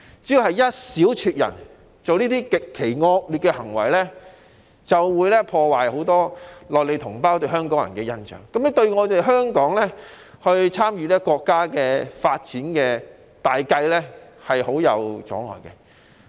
只要有一小撮人作出這類極其惡劣的行為，便足以破壞很多內地同胞對香港人的印象，對香港參與國家發展大計構成極大阻礙。